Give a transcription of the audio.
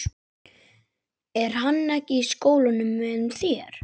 Er hann ekki í skólanum með þér?